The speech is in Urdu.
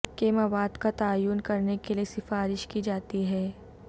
کے مواد کا تعین کرنے کے لئے سفارش کی جاتی ہے